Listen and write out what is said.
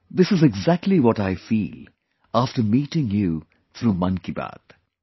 This is exactly what I feel after meeting you through 'Mann Ki Baat'